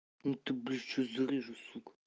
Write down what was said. а то блядь сейчас зарежу сука